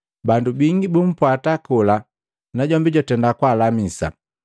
Bandu bingi bumpwata kola, najombi jwatenda kwaalamisa.